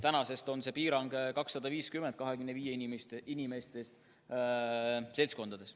Tänasest on see piirang 250 inimest 25 inimesega seltskondades.